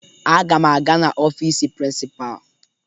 Aga m aga n'ọfiisi prịnsịpaa